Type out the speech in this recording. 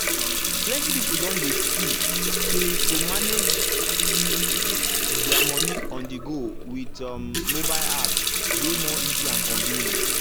plenty people don dey see say to manage their money on-the-go with um mobile apps dey more easy and convenient.